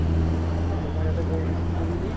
to মই ইয়াতে বহি কিনে মই ফুৰিলো